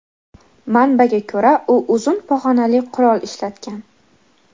Manbaga ko‘ra, u uzun pog‘onali qurol ishlatgan.